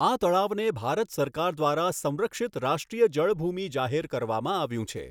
આ તળાવને ભારત સરકાર દ્વારા સંરક્ષિત રાષ્ટ્રીય જળભૂમિ જાહેર કરવામાં આવ્યું છે.